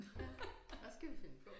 Ja hvad skal vi finde på